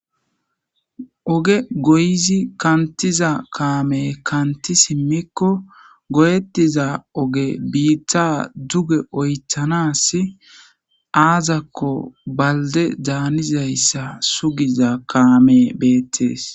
oge goyizi kantiza kaame kanti simmikko goyettiza oge biitta duge oythanas aazakko balde daanizayssa sugiza kaamey beettees